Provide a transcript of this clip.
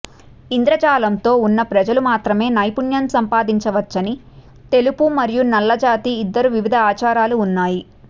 ఇంద్రజాలంతో ఉన్న ప్రజలు మాత్రమే నైపుణ్యం సంపాదించవచ్చని తెలుపు మరియు నల్లజాతి ఇద్దరు వివిధ ఆచారాలు ఉన్నాయి